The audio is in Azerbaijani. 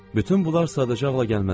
Bütün bunlar sadəcə ağla gəlməzdi.